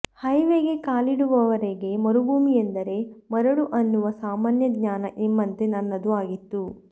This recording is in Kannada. ಹೈವೇಗೆ ಕಾಲಿಡುವವರೆಗೆ ಮರುಭೂಮಿಯೆಂದರೆ ಮರಳು ಅನ್ನುವ ಸಾಮಾನ್ಯಜ್ಞಾನ ನಿಮ್ಮಂತೆ ನನ್ನದೂ ಆಗಿತ್ತು